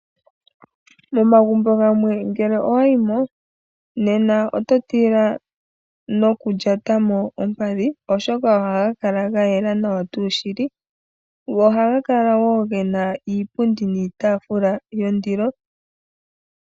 Momagumbo gamwe ngele owa yimo. Nena oto tila noku lyata mo ompadhi oshoka ohaga kala gayela nawa tuu shili. Go ohaga kala gena iipundi niitafula yondilo.